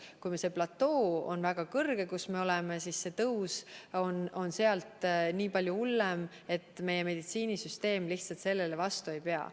Kui see platoo, kus me oleme, on väga kõrge, siis see tõus on sealt nii palju hullem, et meie meditsiinisüsteem lihtsalt sellele vastu ei pea.